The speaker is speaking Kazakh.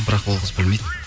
бірақ ол қыз білмейді